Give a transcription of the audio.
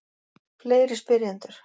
Fleiri spyrjendur: